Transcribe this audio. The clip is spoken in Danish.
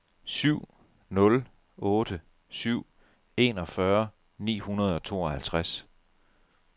syv nul otte syv enogfyrre ni hundrede og tooghalvtreds